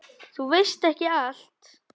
Þú veist ekki allt.